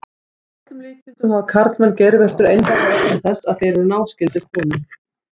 Að öllum líkindum hafa karlmenn geirvörtur einfaldlega vegna þess að þeir eru náskyldir konum.